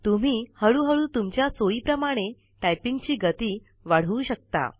तुम्ही हळू हळू तुमच्या सोयीप्रमाणे टाईपिंगची गती वाढवू शकता